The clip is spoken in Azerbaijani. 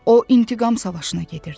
O intiqam savaşına gedirdi.